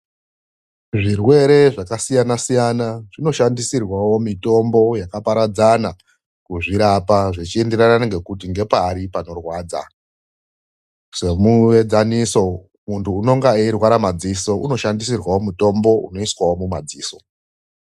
Zvirwere zvakasiyana siyana zvinoshandisirwawo mitombo yakaparadzana kuzvirapa zvichienderana kuti ndepari panorwadza semudzaniso muntu unonga eirwara madziso unoshandisirwawo mitombo yemadziso .